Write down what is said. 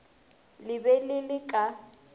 le be le le ka